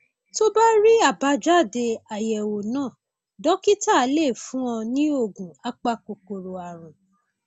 tó bá rí àbájáde àyẹwò náà dókítà lè fún un ní oògùn apakòkòrò ààrùn